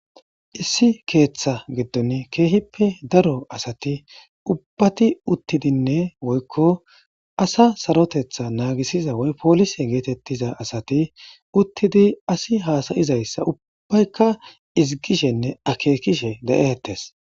issi keeththa giddon keehippe daro asati ubbati uttidinne woykko asa sarotetha naagisiza woy poolise geetettiza asati uttidi asi haasayizayssa ubbaykka izigishenne akeekishe de7ehettes